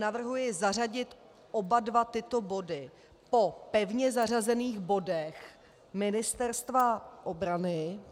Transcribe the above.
Navrhuji zařadit oba dva tyto body po pevně zařazených bodech Ministerstva obrany.